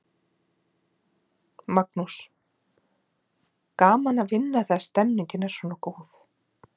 Magnús: Gaman að vinna þegar stemningin er svona góð?